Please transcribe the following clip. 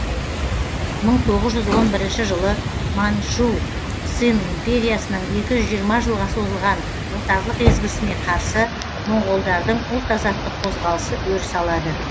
мың тоғыз жүз он бірінші жылы манжу цин империясының екі жүз жиырма жылға созылған отарлық езгісіне қарсы моңғолдардың ұлт азаттық қозғалысы өріс алады